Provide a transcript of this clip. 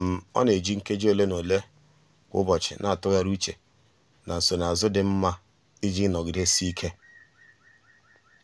ọ na-eji um nkeji ole na ole um kwa ụbọchị na-atụgharị uche na nsonazụ dị mma um iji nọgidesike.